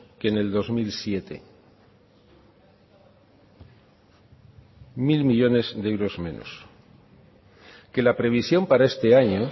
que en el dos mil siete mil millónes de euros menos que la previsión para este año